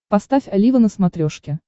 поставь олива на смотрешке